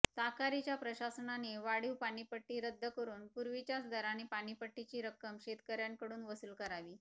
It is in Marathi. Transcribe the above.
ताकारीच्या प्रशासनाने वाढीव पाणीपट्टी रद्द करून पूर्वीच्याच दराने पाणीपट्टीची रक्कम शेतकर्यांकडून वसूल करावी